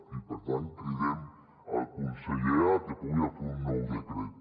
i per tant cridem el conseller a que pugui fer un nou decret